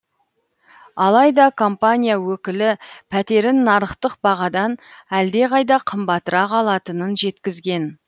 алайда компания өкілі пәтерін нарықтық бағадан әлдеқайда қымбатырақ алатынын жеткізген